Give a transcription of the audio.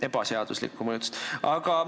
" Ebaseaduslikku mõjutust!